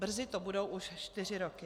Brzy to budou už čtyři roky.